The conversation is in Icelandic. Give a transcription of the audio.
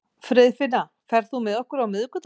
Friðfinna, ferð þú með okkur á miðvikudaginn?